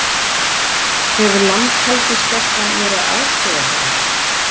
Hefur Landhelgisgæslan verið að aðstoða þá?